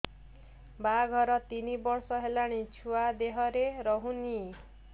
ବାହାଘର ତିନି ବର୍ଷ ହେଲାଣି ଛୁଆ ଦେହରେ ରହୁନି